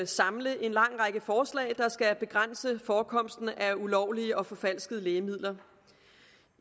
samle en lang række forslag der skal begrænse forekomsten af ulovlige og forfalskede lægemidler